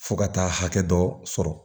Fo ka taa hakɛ dɔ sɔrɔ